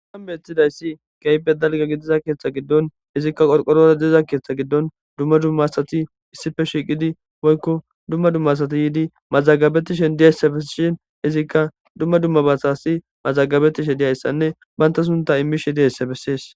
Hayssan bethizayssi kehippe dalgga gidiza keeththa giddon izikka qorqorora diza Keeththa giddon dumma dumma asati issipe shiiqidi woykko dumma dumma asati yiidi mazagabetishe diyayssa besishin izikka dumma dumma basasi mazagabetishe diyayssanne banta sunta immishi diyayssa bessees.